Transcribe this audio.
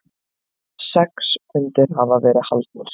Sex fundir hafa verið haldnir.